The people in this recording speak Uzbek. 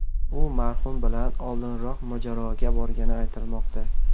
U marhum bilan oldinroq mojaroga borgani aytilmoqda.